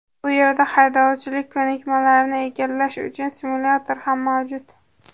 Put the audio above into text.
Bu yerda haydovchilik ko‘nikmalarini egallash uchun simulyator ham mavjud.